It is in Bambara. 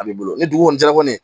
A b'i bolo ni dugu kɔni jɛra kɔni